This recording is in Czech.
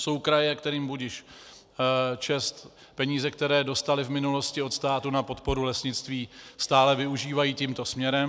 Jsou kraje, kterým budiž čest, peníze, které dostaly v minulosti od státu na podporu lesnictví, stále využívají tímto směrem.